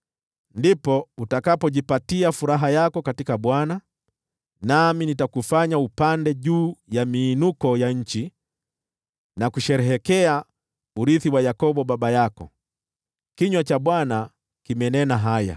ndipo utakapojipatia furaha yako katika Bwana , nami nitakufanya upande juu ya miinuko ya nchi na kusherehekea urithi wa Yakobo baba yako.” Kinywa cha Bwana kimenena haya.